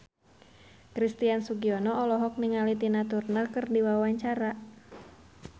Christian Sugiono olohok ningali Tina Turner keur diwawancara